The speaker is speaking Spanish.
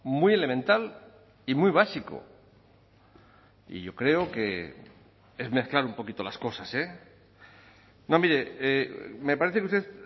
muy elemental y muy básico y yo creo que es mezclar un poquito las cosas no mire me parece que usted